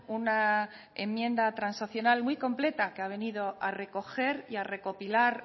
una enmienda transaccional muy completa que ha venido a recoger y a recopilar